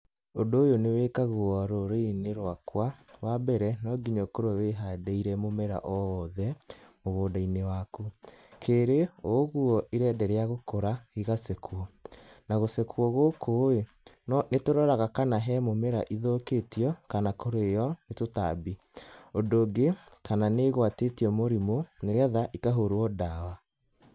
Ũndũ ũyũ nĩwakagũo rũrĩrĩ-ini rwakwa. Wa mbere, no nginya ũkorwo wĩhandĩire mũmera o wothe mũgũnda-inĩ waku. Keerĩ, o ũguo irenderea gũkũra igacekwo. Na gucekwo gũkũ ĩĩ, nĩ tũroraga kana he mũmera ithukĩtio kana kurĩo nĩ tũtambi. Ũndũ ũngĩ, kana nĩ igwatĩtio mũrimũ nĩ getha ikahũrwo ndawa.